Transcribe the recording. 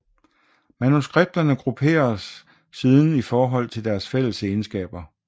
Manuskripterne grupperes siden i forhold til deres fælles egenskaber